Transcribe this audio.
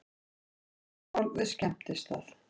Slagsmál við skemmtistað